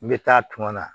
N bɛ taa a tuma na